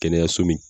Kɛnɛyaso min